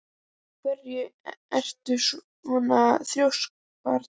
Af hverju ertu svona þrjóskur, Brandr?